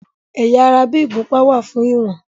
Ẹ̀yà ara bí ìgúnpá wà fún ìwọ̀n.